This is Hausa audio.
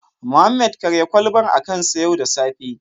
Mohammed karya kwalbar a kansa yau da safe